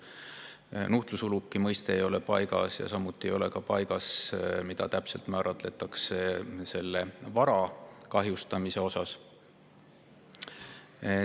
Nuhtlus mõiste ei ole paigas ja samuti ei ole paigas, mida täpselt määratletakse vara kahjustamisena.